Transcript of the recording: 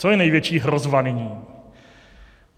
Co je největší hrozba nyní?